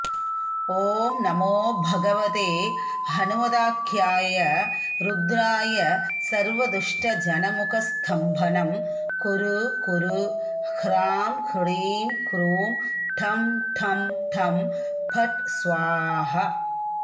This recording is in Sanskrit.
ॐ नमो भगवते हनुमदाख्याय रुद्राय सर्वदुष्टजनमुखस्तम्भनं कुरु कुरु ह्रां ह्रीं ह्रूं ठंठंठं फट् स्वाहा